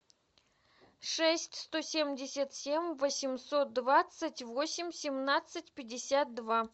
шесть сто семьдесят семь восемьсот двадцать восемь семнадцать пятьдесят два